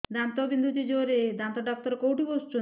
ଦାନ୍ତ ବିନ୍ଧୁଛି ଜୋରରେ ଦାନ୍ତ ଡକ୍ଟର କୋଉଠି ବସୁଛନ୍ତି